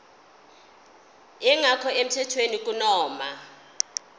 engekho emthethweni kunoma